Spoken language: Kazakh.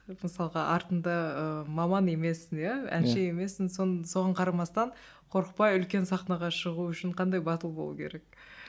мысалға артында ыыы маман емессің иә әнші емессің соған қарамастан қорықпай үлкен сахнаға шығу үшін қандай батыл болу керек